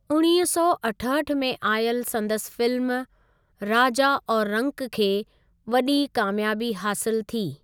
उणिवींह सौ अठहठि में आयल संदसि फिल्म 'राजा और रंक' खे वॾी कामियाबी हासिलु थी।